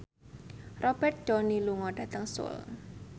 Robert Downey lunga dhateng Seoul